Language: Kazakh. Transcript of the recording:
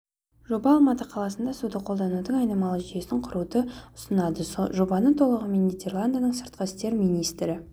жоба алматы қаласында суды қолданудың айналмалы жүйесін құруды ұсынады жобаны толығымен нидерландының сыртқы істер министрі